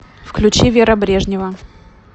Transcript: включи вера брежнева